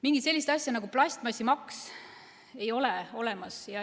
Mingit sellist asja nagu plastmassimaks ei ole olemas.